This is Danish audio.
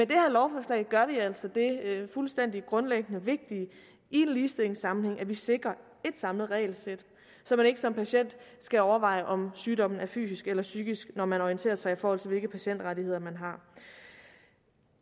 det her lovforslag gør vi altså det fuldstændig grundlæggende vigtige i en ligestillingssammenhæng at vi sikrer et samlet regelsæt så man ikke som patient skal overveje om sygdommen er fysisk eller psykisk når man orienterer sig i forhold til hvilke patientrettigheder man har